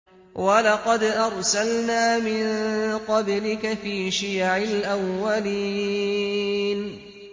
وَلَقَدْ أَرْسَلْنَا مِن قَبْلِكَ فِي شِيَعِ الْأَوَّلِينَ